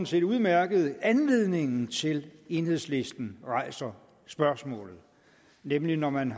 set udmærket anledningen til at enhedslisten rejser spørgsmålet nemlig når man